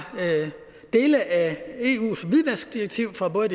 dele af eus hvidvaskdirektiv fra både